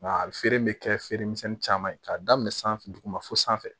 Nka a feereli bɛ kɛ feere misɛnin caman ye k'a daminɛ san duguma fo sanfɛ